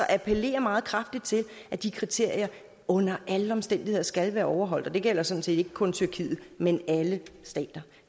appellere meget kraftigt til at de kriterier under alle omstændigheder skal være overholdt det gælder sådan set ikke kun tyrkiet men alle stater